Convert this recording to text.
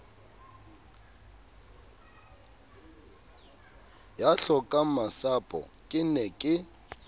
ya hlokangmasapo ke ne ke